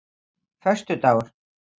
föstudagur